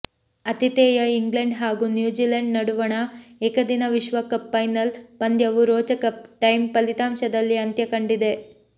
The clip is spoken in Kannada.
ಆತಿಥೇಯ ಇಂಗ್ಲೆಂಡ್ ಹಾಗೂ ನ್ಯೂಜಿಲೆಂಡ್ ನಡುವಣ ಏಕದಿನ ವಿಶ್ವಕಪ್ ಫೈನಲ್ ಪಂದ್ಯವು ರೋಚಕ ಟೈ ಫಲಿತಾಂಶದಲ್ಲಿ ಅಂತ್ಯಕಂಡಿದೆ